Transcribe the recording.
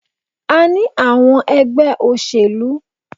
A ní àwọn ẹgbẹ́ òṣèlú.